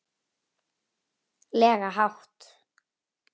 lega hátt.